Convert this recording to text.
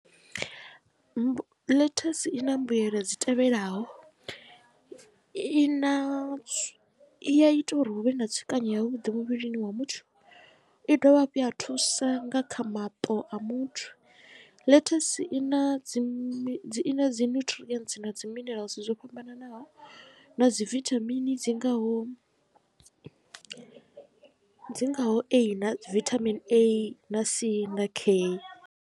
Ḽethasi ina mbuyelo dzi tevhelaho i na i ita uri hu vhe na tsukanyo ya vhuḓi muvhilini wa muthu i dovha hafhu ya thusa nga kha maṱo a muthu ḽethasi i na dzi dzi dzi nyuṱirientsi na dzi minerals dzo fhambananaho na dzi vithamini dzi ngaho dzi ngaho A na vitamin A na C na K.